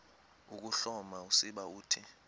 ukuhloma usiba uthi